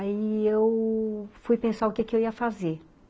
Aí eu fui pensar o que que eu ia fazer.